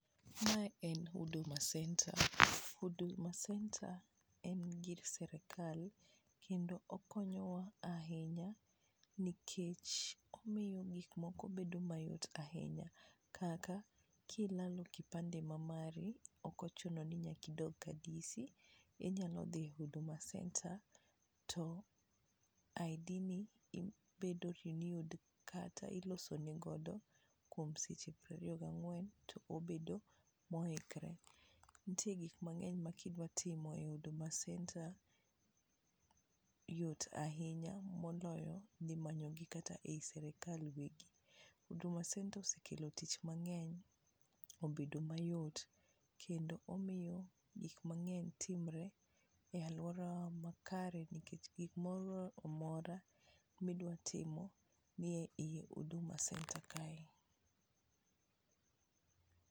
Mae en huduma centre, huduma centre en gir sirikal kendo okonyowa ahinya nikech omiyo gik moko bedo mayot ahinya, kaka kilalo kipande ma mari ok ochuno ni nyaka idog ka DC inyalo dhi huduma centre to ID ni bedo renewed kata iloso ni godo kuom seche piero ariyo ga ng'wen to obedo mo ikre, nitie gik mang'eny ma kidwa timo e huduma centre yot ahinya moloyo dhi manyo gi kata ei sirikal wegi ,huduma centre osekelo tich mang'eny obedo mayot kendo omiyo gik mang'eny timre e aluorawa makare nikech nikech gimoro amora midwa timo nie iye huduma centre kae.